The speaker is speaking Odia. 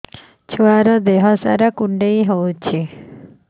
ଛୁଆର୍ ଦିହ ସାରା କୁଣ୍ଡିଆ ହେଇଚି